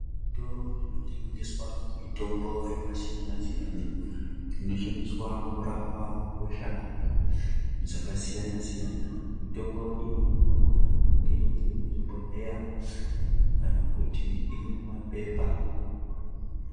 Zvitoro zvinotengeswa mitombo yakasiyana siyana inoshandiswa kurapa hosha dzakasiyana siyana mitombo iyi inogona kunga iri muma bhohleya kana kunge iri mumapepa